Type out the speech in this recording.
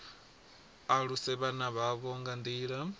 aluse vhana vhavho nga nḓila